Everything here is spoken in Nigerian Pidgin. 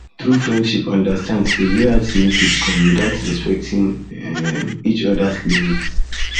true friendship understand say um loyalty no fit no fit come without respecting um each others limits